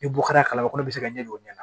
Ni bɔ kɛra kalama kɔnɔ bɛ se ka ɲɛ don ɲɛ na